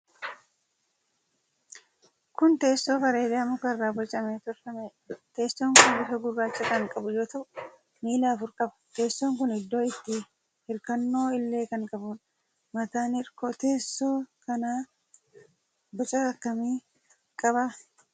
Kun teessoo bareedaa muka irraa bocamee tolfameedha. Teessooon kun bifa gurraacha kan qabu yoo ta'u, miila afur qaba. Teessoon kun iddoo itti hirkannoo illee kan qabudha. Mataan hirkoo teessoo kanaa boca akkamii qaba?